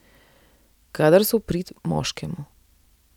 Kadar so v prid moškemu.